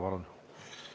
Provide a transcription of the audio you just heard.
Palun!